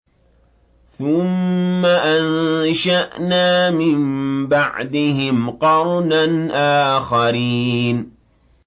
ثُمَّ أَنشَأْنَا مِن بَعْدِهِمْ قَرْنًا آخَرِينَ